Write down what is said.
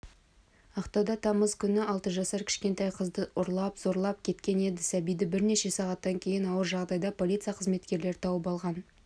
ақтауда тамыз күні алты жасар кішкентай қызды ұрлап зорлап кеткен еді сәбиді бірнеше сағаттан кейін ауыр жағдайда полиция қызметкерлері тауып алған